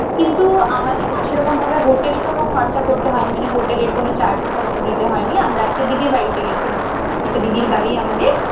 কিন্তু আমাদের না সে রকমভাবে hotel কোনো খরচা করতে হয়নি। মানে hotel এর কোনো charge টার্জ দিতে হয়নি। আমরা একটা দিদির বাড়িতে গেছিলাম। একটা দিদির বাড়ি আমাদের।